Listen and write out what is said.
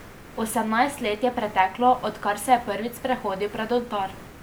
Osemnajst let je preteklo, odkar se je prvič sprehodil pred oltar.